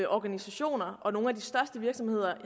organisationer og nogle af de største virksomheder